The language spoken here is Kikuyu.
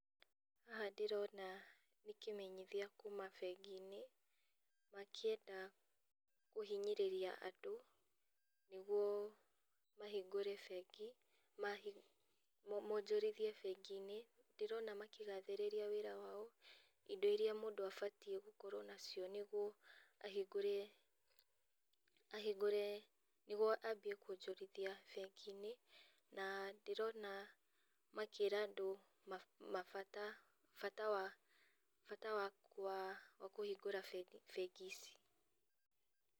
Haha ndĩrona nĩkĩmenyithia kuma benginĩ, makĩenda kũhinyĩrĩria andũ, nĩguo mahingũre bengi, ma monjorithie benginĩ, ndĩrona makĩgathĩrĩria wĩra wao, indo iria mũndũ abatiĩ gũkorwo nacio nĩguo ahingũre ahingũre nĩguo athiĩ kuonjorithia benginĩ, na ndĩrona makĩra andũ ma mabata bata wa bata wa wakũhingũra bengi ici.